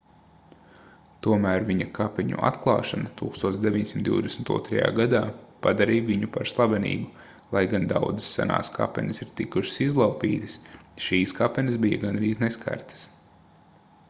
tomēr viņa kapeņu atklāšana 1922. gadā padarīja viņu par slavenību lai gan daudzas senās kapenes ir tikušas izlaupītas šīs kapenes bija gandrīz neskartas